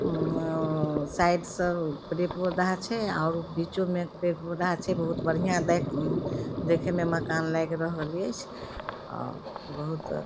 उम्मम side से पेड़ पौधा छै और बीचों में पेड़-पौधा छै बहुत बढ़िया उम्म देखे मे मकान लग रहल ऐच्छ अ बहुत --